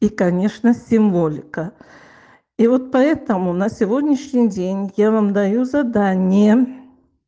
и конечно символика и вот поэтому на сегодняшний день я вам даю задание